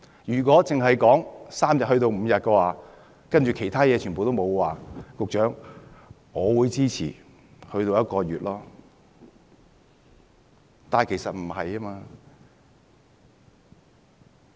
如果只是由3天增至5天而其他情況不變，局長，我會支持將侍產假增至1個月。